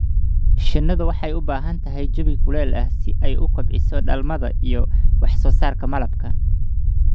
Shinnidu waxay u baahan tahay jawi kuleyl ah si ay u kobciso dhalmada iyo wax soo saarka malabka.